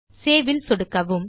saveல் சொடுக்கவும்